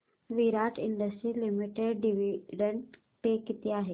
विराट industries limited dividend पे किती आहे